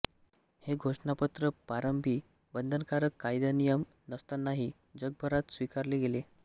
हे घोषणापत्र प्रारंभी बंधनकारक कायदानियम नसतानाही जगभरात स्वीकारले गेले